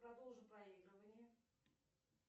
продолжу проигрывание